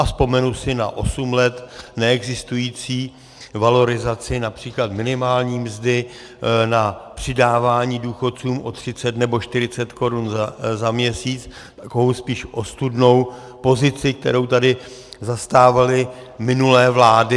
A vzpomenu si na osm let neexistující valorizaci například minimální mzdy, na přidávání důchodcům o 30 nebo 40 korun za měsíc, takovou spíš ostudnou pozici, kterou tady zastávaly minulé vlády.